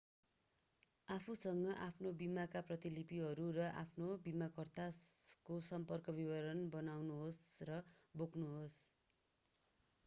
आफूसँग आफ्नो बीमाका प्रतिलिपिहरू र आफ्नो बीमाकर्ताको सम्पर्क विवरण बनाउनुहोस् र बोक्नुहोस्